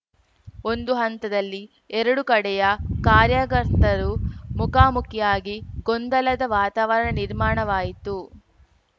ಒಂದು ಹಂತದಲ್ಲಿ ಎರಡೂ ಕಡೆಯ ಕಾರ್ಯಕರ್ತರು ಮುಖಾಮುಖಿಯಾಗಿ ಗೊಂದಲದ ವಾತಾವರಣ ನಿರ್ಮಾಣವಾಯಿತು